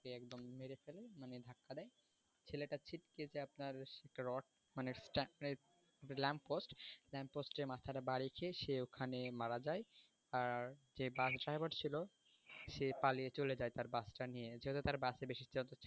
ছেলেটা ছিটকে গিয়ে আপনার একটা রড মানে lamp post lamp post এ মাথাটা বাড়ি খেয়ে সে ওখানে মারা যায় আর যে bus driver ছিল সে পালিয়ে চলে যায় তার bus টা নিয়ে যেহেতু তার bus এ বেশি